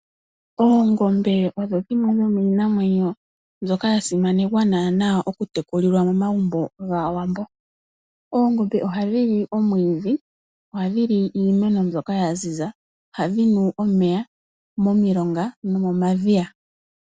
Oongombe odho dhimwe dhomiinamwenyo mbyoka ya simanekwa naana okutekulilwa momagumbo gaAwambo. Oongombe ohadhi li omwiidhi niimeno mbyoka yaziza, ohadhi nu omeya momilonga nomomadhiya.